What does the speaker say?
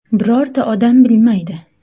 Birorta odam bilmaydi.